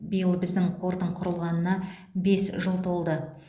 биыл біздің қордың құрылғанына бес жыл толды